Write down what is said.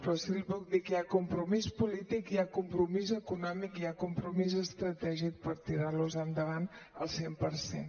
però sí que li puc dir que hi ha compromís polític hi ha compromís econòmic i hi ha compromís estratègic per tirar los endavant al cent per cent